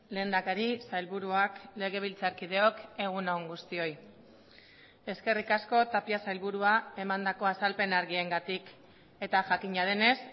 lehendakari sailburuak legebiltzarkideok egun on guztioi eskerrik asko tapia sailburua emandako azalpen argiengatik eta jakina denez